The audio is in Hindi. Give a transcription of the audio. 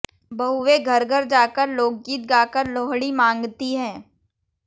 बहुएं घर घर जाकर लोकगीत गाकर लोहड़ी मांगती हैं